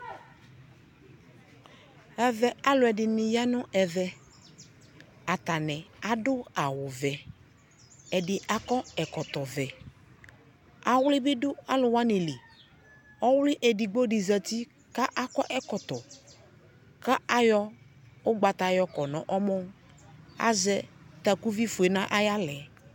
Ɛvɛ, alʋɛdini ya nʋ ɛvɛ Atani adʋ awu vɛ Ɛdi akɔ ɛkɔtɔ vɛ Awli bi dʋ alʋ wani li Ɔwli edigbo di zati kʋ akɔ ɛkɔtɔ kʋ ayɔ ʋgbata yɔkɔ nʋ ɔmɔ Azɛ takuvi fue nʋ ayaɣla ɛ